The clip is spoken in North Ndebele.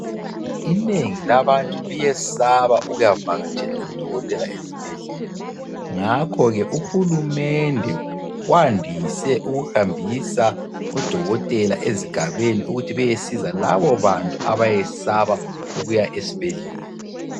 Inengi labantu liyesaba ukuyavakatshela udokotela ezibhedlela. Ngakho ke uhulumende wandise ukuhambisa odokotela ezigabeni ukuthi beyesiza labobantu abesaba ukuya ezibhedlela.